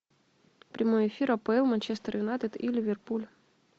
прямой эфир апл манчестер юнайтед и ливерпуль